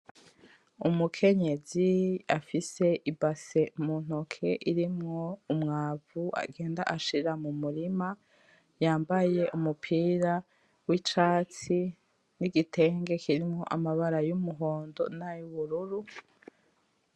Umukenyezi afise ibase muntoke irimwo umwavu agenda ashira mumurima, yambaye umubira wicatsi, n'igitenge kirimwo amabara y'umuhondo nay'ubururu .